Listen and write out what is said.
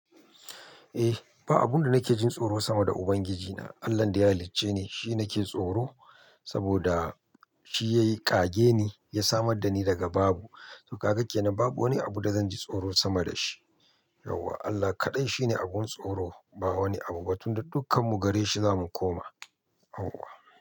Eh, ba abun da nake jin tsoro sama da Ubangiji na. Allan da ya halicce ni shine nake tsoro saboda shi yayi ƙage ni, ya samar da ni daga babu. To ka ga kenan babu wani abu da zanji tsoro sama da shi. Yauwa Allah kaɗai shine abun tsoro. Ba wani abu ba tunda dukkan mu gare shi zamu koma. Yauwa.